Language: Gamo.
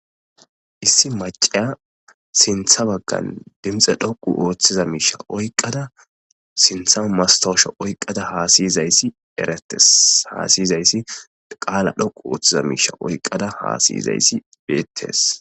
Issi macasya sinithe bagan dinixe dhoqu othida mishe oyikada sinitha hasayizas qala dhoqu othida mishe oyikada hasayizas betes.